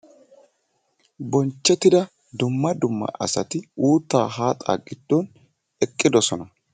Bonchchettida dumma dumma asati uuttaa haaxaa giddon eqqidosona